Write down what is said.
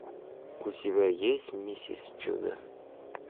у тебя есть миссис чудо